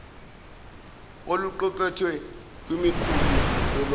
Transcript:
oluqukethwe kwimiqulu yolwazi